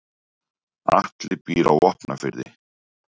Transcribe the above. Atli býr á Vopnafirði.